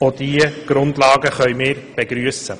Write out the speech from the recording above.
Auch diese Grundlagen können wir begrüssen.